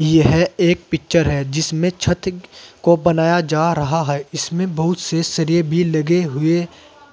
यह एक पिक्चर है जिसमें छत को बनाया जा रहा है इसमें बहुत से सरिए भी लगे हुए